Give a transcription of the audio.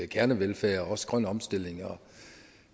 kernevelfærd og også en grøn omstilling og